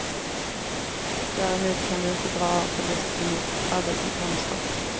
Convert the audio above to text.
Däremot kan du inte dra av förlusten mot arbetsinkomster.